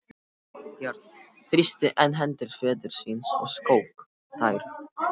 Björn þrýsti enn hendur föður síns og skók þær.